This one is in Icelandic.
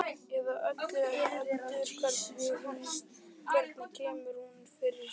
Eða öllu heldur: Hvernig kemur hún mér fyrir sjónir?